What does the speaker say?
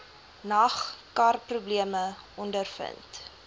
nag karprobleme ondervind